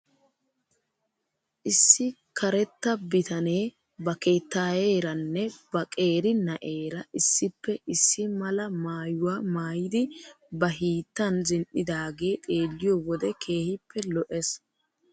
Issi karetta bitanee ba keettaayeeranne ba qeeri na'eera issippe issi mala maayuwaa maayidi ba hiittan zin'idaagee xeeliyoo wode keehippe lo'es.